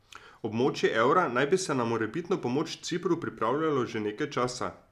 Območje evra naj bi se na morebitno pomoč Cipru pripravljalo že nekaj časa.